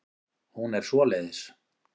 Hún er svoleiðis.